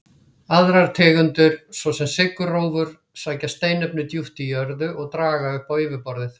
Aðrar tegundir, svo sem sykurrófur, sækja steinefni djúpt í jörðu og draga upp á yfirborðið.